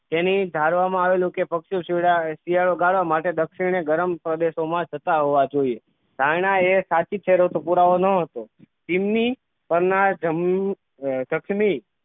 તેની ધારવામાં આવેલું કે પક્ષીઑ શિયા શિયાળો ગાળવા માટે દક્ષિણ એ ગરમ પ્રદેશો માં જતાં હોવા જોઈએ ધારણા એ સાચી છે દોસ્તો પુરાવો તો ન હતો ચીમની પર ના જમ પશ્ચિમી